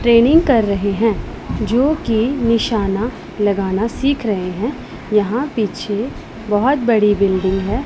Training कर रहे हैं जोकि निशाना लगाना सीख रहे हैं यहां पीछे बहोत बड़ी बिल्डिंग हैं।